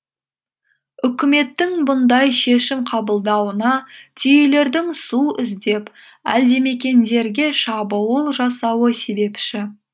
үкіметтің бұндай шешім қабылдауына түйелердің су іздеп әлдімекендерге шабуыл жасауы себепші